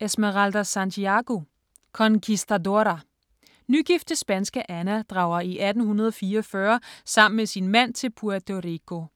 Santiago, Esmeralda: Conquistadora Nygifte spanske Ana drager i 1844 sammen med sin mand til Puerto Rico.